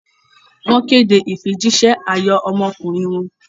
Wọ́n kéde ìfijíṣẹ́ ayọ̀ ọmọkùnrin wọn.